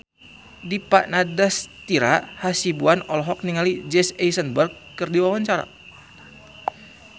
Dipa Nandastyra Hasibuan olohok ningali Jesse Eisenberg keur diwawancara